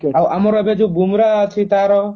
ଆମର ଏବେ ଯଉ ବୁମ୍ରାହ ଅଛି ତାର